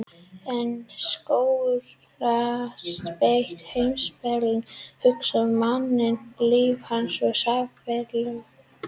En Sókrates beitir heimspekilegri hugsun á manninn, líf hans og samfélag.